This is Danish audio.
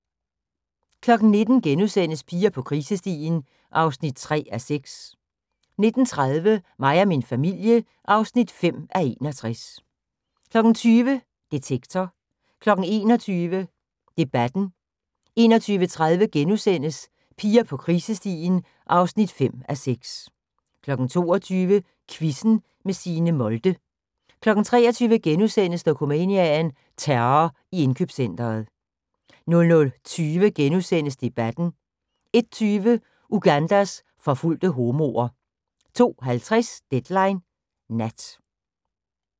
19:00: Piger på krisestien (3:6)* 19:30: Mig og min familie (5:61) 20:00: Debatten 21:00: Detektor 21:30: Piger på krisestien (5:6)* 22:00: Quizzen med Signe Molde 23:00: Dokumania: Terror i indkøbscentret * 00:20: Debatten * 01:20: Ugandas forfulgte homoer 02:50: Deadline Nat